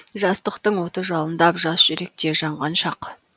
жастықтың оты жалындап жас жүректе жанған шақ